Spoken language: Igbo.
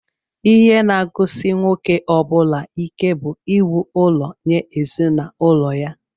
Ihe naagụsị nwoke ọbula ike bú íwú ụlọ nye ezinụlọ ya.